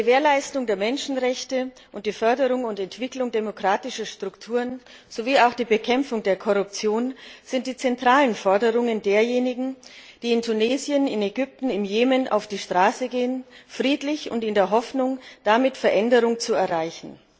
Die Gewährleistung der Menschenrechte und die Förderung und Entwicklung demokratischer Strukturen sowie auch die Bekämpfung der Korruption sind die zentralen Forderungen derjenigen, die in Tunesien, in Ägypten, im Jemen auf die Straße gehen friedlich und in der Hoffnung, damit Veränderungen zu erreichen.